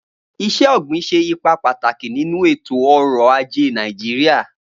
Iṣẹ-ogbin ṣe ipa pataki ninu eto-ọrọ aje Naijiria